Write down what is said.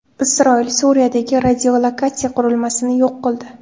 Isroil Suriyadagi radiolokatsiya qurilmasini yo‘q qildi.